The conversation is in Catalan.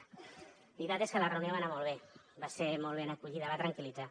la veritat és que la reunió va anar molt bé va ser molt ben acollida va tranquillitzar